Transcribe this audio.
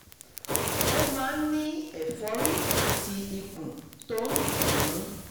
ó máa ń ní ẹ̀fọ́rí àti ikùn tó ń dùn ún